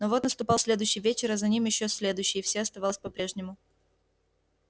но вот наступал следующий вечер а за ним ещё следующий и все оставалось по-прежнему